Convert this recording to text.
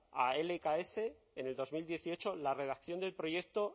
a lks en el dos mil dieciocho la redacción del proyecto